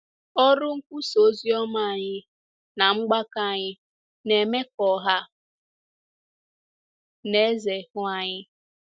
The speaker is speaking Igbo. Ọrụ nkwusa ozioma anyị na mgbakọ anyị na-eme ka ọha na eze hụ anyị.